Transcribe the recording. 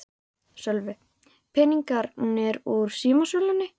Sölvi: Peningarnir úr símasölunni?